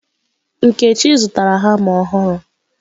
Nkechi zụtara hama ọhụrụ.